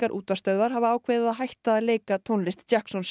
útvarpsstöðvar hafa ákveðið að hætta að leika tónlist